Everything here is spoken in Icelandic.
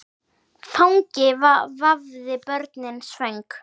Fangi vafði börnin svöng.